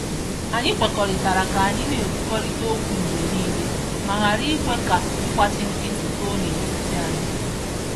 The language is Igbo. Anyị kwekọrịtara ka anyị na-ekwukọrịta okwu mgbe niile ma ghara ikwe ka ịgbachi nkịtị too n'etiti anyị.